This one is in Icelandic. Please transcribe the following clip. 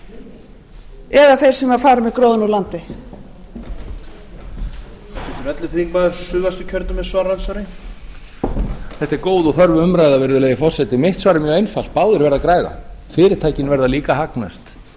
þetta er góð og þörf umræða virðulegi forseti mitt svar er mjög einfalt báðir verða að græða fyrirtækin verða líka að hagnast